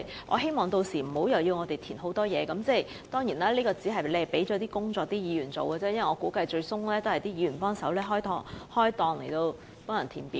我希望屆時無須填報大量資料，而其實這是把工作推給議員，因為我估計最終也要由議員負責協助市民填表。